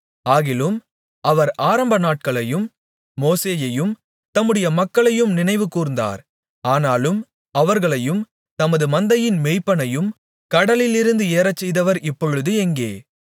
ஆகிலும் அவர் ஆரம்பநாட்களையும் மோசேயையும் தம்முடைய மக்களையும் நினைவுகூர்ந்தார் ஆனாலும் அவர்களையும் தமது மந்தையின் மேய்ப்பனையும் கடலிலிருந்து ஏறச்செய்தவர் இப்பொழுது எங்கே